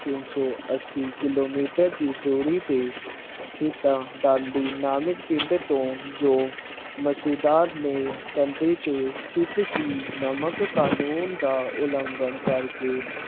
ਤਿੰਨ ਸੋ ਅੱਸੀ ਕਿਲੋਮੀਟਰ ਦੀ ਦੂਰੀ ਤੇ ਸ਼ਿਤਾ ਬਾਡੀ ਨਾਮਕ ਪਿੰਡ ਤੋਂ ਜੋ ਮਸੁਦਾਬ ਦੇ ਕੰਡੇ ਤੇ ਜੋ ਸੁਤਸ਼ੀ ਨਾਮਕ ਕਾਨੂੰਨ ਦਾ ਉਲੰਘਣ ਕਰ ਕੇ